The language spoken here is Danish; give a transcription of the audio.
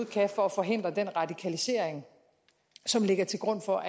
kan for at forhindre den radikalisering som ligger til grund for